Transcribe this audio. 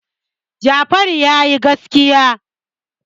Jafaru ya yi gaskiya.